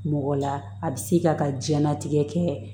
Mɔgɔ la a bi se ka ka diɲɛlatigɛ kɛ